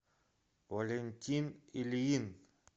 валентин ильин